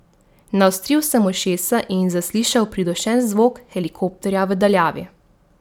Naostril sem ušesa in zaslišal pridušen zvok helikopterja v daljavi.